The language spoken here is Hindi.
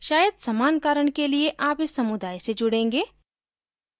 शायद समान कारण के लिए आप इस समुदाय से जुड़ेंगे